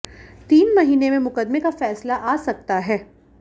तीन महीने में मुकदमे का फैसला आ सकता है